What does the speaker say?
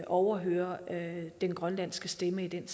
overhøre den grønlandske stemme i den